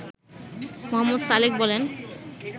মো. সালেক বলেন